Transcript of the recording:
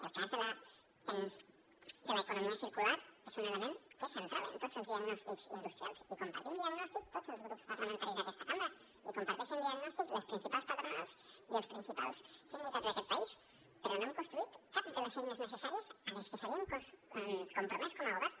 el cas de l’economia circular és un element que és central en tots els diagnòstics industrials i compartim diagnòstic tots els grups parlamentaris d’aquesta cambra i comparteixen diagnòstic les principals patronals i els principals sindicats d’aquest país però no hem construït cap de les eines necessàries a les que s’havien compromès com a govern